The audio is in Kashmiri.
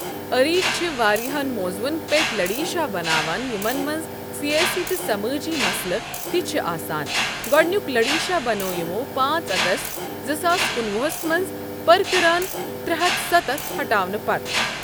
اریٖج چھِ واریاہ موضوٗعَن پؠتھ لٕڈیشاہ بَناوَن یِمَن مَنٛز سِیاسی تہٕ سَمأجی مَسلہٕ تہِ چھِ آسان گوڈٕنِیُک لٕڈیشاہ بَنٲو یِمو ۵ اَگَست ۲۰۱۹ مَنٛز پرَٛکٕرٲن ۳۷۰ ہَٹاونہٕ پَتہ۔